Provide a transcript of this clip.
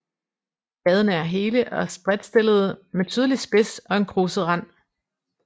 Bladene er hele og spredtstillede med tydelig spids og en kruset rand